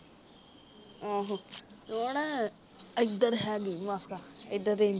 ਆਹੋ ਓਹਨਾ ਉਧਰ ਹੈਗੇ ਮਾਸਾ ਇਧਰ